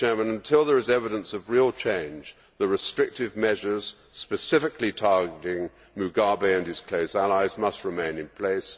Until there is evidence of real change, the restrictive measures specifically targeting Mugabe and his close allies must remain in place.